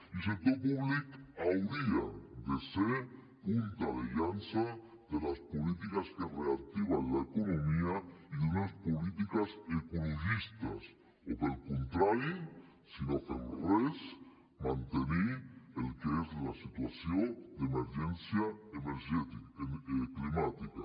i el sector públic hauria de ser punta de llança de les polítiques que reactiven l’economia i d’unes polítiques ecologistes o pel contrari si no fem res mantenir el que és la situació d’emergència climàtica